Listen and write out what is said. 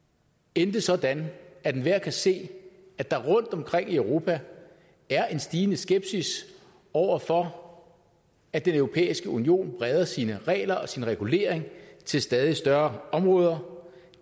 endte sådan at enhver kan se at der rundtomkring i europa er en stigende skepsis over for at den europæiske union breder sine regler og sin regulering til stadig større områder